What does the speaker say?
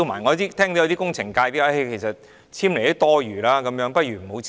我聽到有工程界人士表示，簽署也是多餘的，倒不如不用簽。